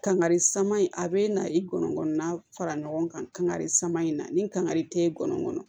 Kangari sama in a bɛ na i kɔnɔ na fara ɲɔgɔn kan kangari saman in na ni kangari tɛ ye gɔnɔ kɔnɔ